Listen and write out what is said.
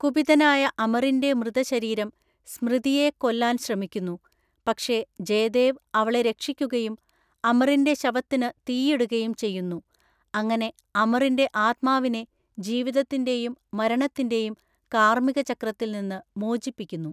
കുപിതനായ അമറിന്റെ മൃതശരീരം സ്‌മൃതിയെ കൊല്ലാൻ ശ്രമിക്കുന്നു, പക്ഷേ ജയദേവ് അവളെ രക്ഷിക്കുകയും അമറിന്റെ ശവത്തിന് തീയിടുകയും ചെയ്യുന്നു, അങ്ങനെ അമറിന്റെ ആത്മാവിനെ ജീവിതത്തിന്റെയും മരണത്തിന്റെയും കാർമിക ചക്രത്തിൽ നിന്ന് മോചിപ്പിക്കുന്നു.